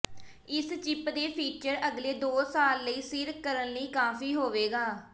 ਇਸ ਚਿੱਪ ਦੇ ਫੀਚਰ ਅਗਲੇ ਦੋ ਸਾਲ ਲਈ ਸਿਰ ਕਰਨ ਲਈ ਕਾਫ਼ੀ ਹੋਵੇਗਾ